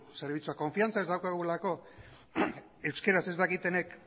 zerbitzuak konfidantza ez daukagulako euskara ez dakitenek